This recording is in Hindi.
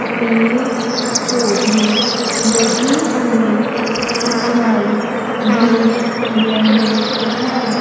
पेड़ पौधे लगे हुई दिखाई दे रहे हैं।